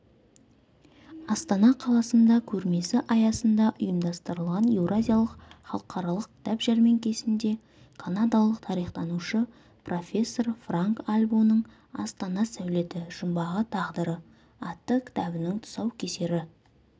астана қаласында көрмесі аясында ұйымдастырылған еуразиялық халықаралық кітап жәрмеңкесінде канадалық тарихтанушы профессор франк альбоның астана сәулеті жұмбағы тағдыры атты кітабының тұсаукесері